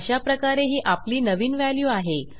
अशाप्रकारे ही आपली नवीन व्हॅल्यू आहे